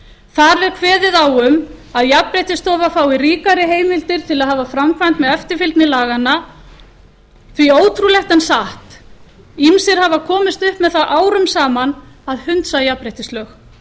þar er kveðið á um að jafnréttisstofa fái ríkari heimildir til að hafa framkvæmd með eftirfylgni laganna því að ótrúlegt en satt ýmsir hafa komist upp með það árum saman að hunsa jafnréttislög